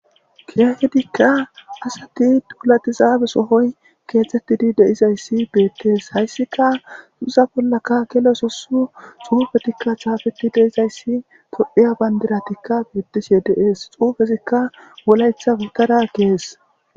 kiyahedikka asati tulatizaabe sohoy keetettidi deizayssi beettees hayssika xuza bollaka gelososu xuufetikka chaafeti deizayssi tophiya bandiratikka beettishe deees xuufesikka wolaytha gigara gees